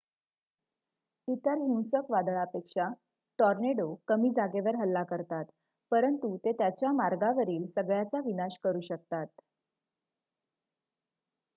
इतर हिंसक वादळपेक्षा टोर्नेडो कमी जागेवर हल्ला करतात परंतु ते त्यांच्या मार्गावरील सगळ्याचा विनाश करू शकतात